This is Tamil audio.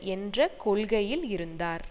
என்ற கொள்கையில் இருந்தார்